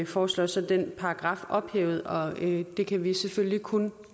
foreslår så den paragraf ophævet og det kan vi selvfølgelig kun